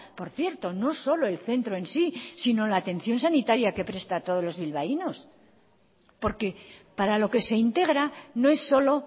por cierto no solo el centro en sí si no la atención sanitaria que presta a todos los bilbaínos porque para lo que se integra no es solo